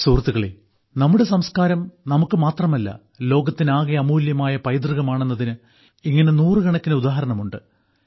സുഹൃത്തുക്കളേ നമ്മുടെ സംക്കാരം നമുക്കുമാത്രമല്ല ലോകത്തിനാകെ അമൂല്യമായ പൈതൃകമാണെന്നതിന് ഇങ്ങനെ നൂറുകണക്കിന് ഉദാഹരണമുണ്ട്